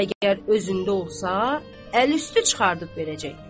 Əgər özündə olsa, əl üstü çıxardıb verəcək.